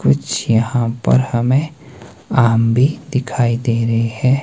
कुछ यहां पर हमें आम भी दिखाई दे रहे हैं।